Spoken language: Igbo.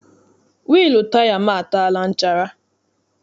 Wịịlụ taya m ataala nchara.